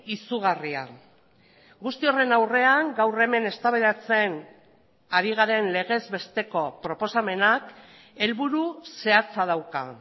izugarria guzti horren aurrean gaur hemen eztabaidatzen ari garen legez besteko proposamenak helburu zehatza dauka